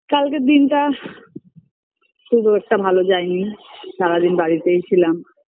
কালকের দিনটা BREATHE খুব একটা ভালো যায়নি সারাদিন বাড়িতেই ছিলাম